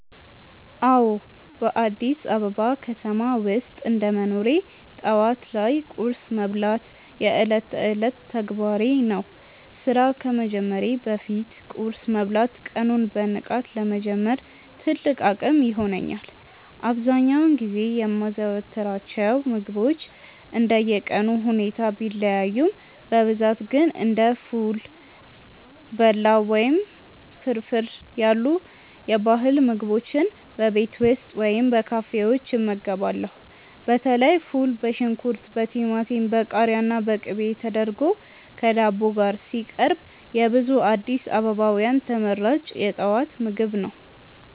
አዎ፣ በአዲስ አበባ ከተማ ውስጥ እንደ መኖሬ ጠዋት ላይ ቁርስ መብላት የዕለት ተዕለት ተግባሬ ነው። ስራ ከመጀመሬ በፊት ቁርስ መብላት ቀኑን በንቃት ለመጀመር ትልቅ አቅም ይሆነኛል። አብዛኛውን ጊዜ የማዘወትራቸው ምግቦች እንደየቀኑ ሁኔታ ቢለያዩም፣ በብዛት ግን እንደ ፉል፣ በላው ወይም ፍርፍር ያሉ የባህል ምግቦችን በቤት ውስጥ ወይም በካፌዎች እመገባለሁ። በተለይ ፉል በሽንኩርት፣ በቲማቲም፣ በቃሪያና በቅቤ ተደርጎ ከዳቦ ጋር ሲቀርብ የብዙ አዲስ አበባውያን ተመራጭ የጠዋት ምግብ ነው።